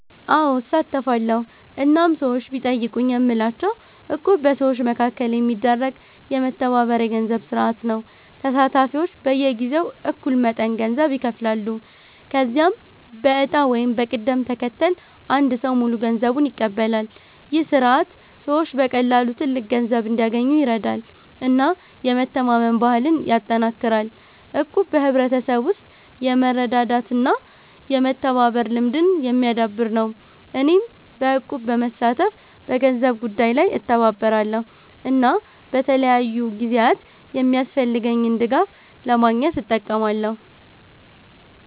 አዎ፣ እሳተፋለሁ እናም ሰዎች ቢጠይቁኝ የምላቸው እቁብ በሰዎች መካከል የሚደረግ የመተባበር የገንዘብ ስርዓት ነው። ተሳታፊዎች በየጊዜው እኩል መጠን ገንዘብ ይከፍላሉ፣ ከዚያም በዕጣ ወይም በቅደም ተከተል አንድ ሰው ሙሉ ገንዘቡን ይቀበላል። ይህ ስርዓት ሰዎች በቀላሉ ትልቅ ገንዘብ እንዲያገኙ ይረዳል እና የመተማመን ባህልን ያጠናክራል። እቁብ በሕብረተሰብ ውስጥ የመረዳዳት እና የመተባበር ልምድን የሚያዳብር ነው። እኔም በእቁብ በመሳተፍ በገንዘብ ጉዳይ ላይ እተባበራለሁ እና በተለያዩ ጊዜያት የሚያስፈልገኝን ድጋፍ ለማግኘት እጠቀማለሁ።